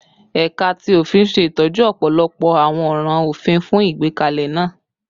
Ẹka ti ofin ṣe itọju ọpọlọpọ awọn ọran ofin fun igbekalẹ naa